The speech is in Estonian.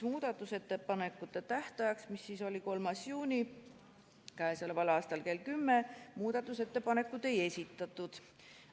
Muudatusettepanekute tähtajaks, mis oli k.a 3. juuni kell 10, muudatusettepanekuid ei esitatud.